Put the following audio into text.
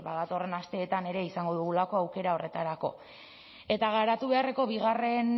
datorren asteetan ere izango dugulako aukera horretarako eta garatu beharreko bigarren